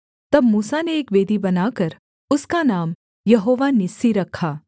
तब मूसा ने एक वेदी बनाकर उसका नाम यहोवा निस्सी रखा